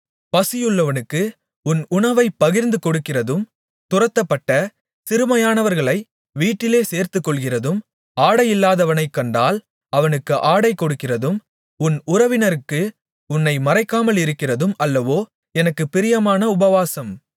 பசியுள்ளவனுக்கு உன் உணவைப் பகிர்ந்துகொடுக்கிறதும் துரத்தப்பட்ட சிறுமையானவர்களை வீட்டிலே சேர்த்துக்கொள்கிறதும் ஆடையில்லாதவனைக் கண்டால் அவனுக்கு ஆடை கொடுக்கிறதும் உன் உறவினனுக்கு உன்னை மறைக்காமலிருக்கிறதும் அல்லவோ எனக்குப் பிரியமான உபவாசம்